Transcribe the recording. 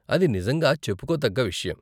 అది నిజంగా చెప్పుకోతగ్గ విషయం.